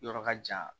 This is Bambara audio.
Yɔrɔ ka jan